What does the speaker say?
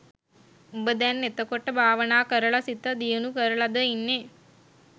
උඹ දැන් එතකොට භාවනා කරල සිත දියුණු කරලා ද ඉන්නේ